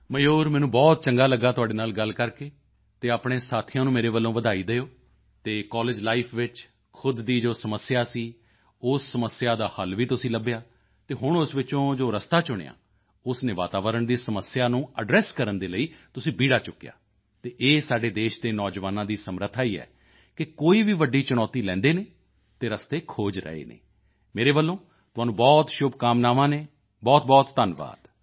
ਮਯੂਰ ਮੈਨੂੰ ਬਹੁਤ ਚੰਗਾ ਲਗਿਆ ਤੁਹਾਡੇ ਨਾਲ ਗੱਲ ਕਰਕੇ ਅਤੇ ਆਪਣੇ ਸਾਥੀਆਂ ਨੂੰ ਮੇਰੇ ਵੱਲੋਂ ਵਧਾਈ ਦਿਓ ਅਤੇ ਕਾਲੇਜ ਲਾਈਫ ਵਿੱਚ ਖ਼ੁਦ ਦੀ ਜੋ ਸਮੱਸਿਆ ਸੀ ਉਸ ਸਮੱਸਿਆ ਦਾ ਹੱਲ ਵੀ ਤੁਸੀਂ ਲੱਭਿਆ ਅਤੇ ਹੁਣ ਉਸ ਵਿੱਚੋਂ ਜੋ ਰਸਤਾ ਚੁਣਿਆ ਉਸ ਨੇ ਵਾਤਾਵਰਣ ਦੀ ਸਮੱਸਿਆ ਨੂੰ ਐਡਰੈਸ ਕਰਨ ਦੇ ਲਈ ਤੁਸੀਂ ਬੀੜਾ ਚੁੱਕਿਆ ਅਤੇ ਇਹ ਸਾਡੇ ਦੇਸ਼ ਦੇ ਨੌਜਵਾਨਾਂ ਦੀ ਸਮਰੱਥਾ ਹੀ ਹੈ ਕਿ ਕੋਈ ਵੀ ਵੱਡੀ ਚੁਣੌਤੀ ਲੈ ਲੈਂਦੇ ਹਨ ਅਤੇ ਰਸਤੇ ਖੋਜ ਰਹੇ ਹਨ ਮੇਰੇ ਵੱਲੋਂ ਤੁਹਾਨੂੰ ਬਹੁਤ ਸ਼ੁਭਕਾਮਨਾਵਾਂ ਹਨ ਬਹੁਤਬਹੁਤ ਧੰਨਵਾਦ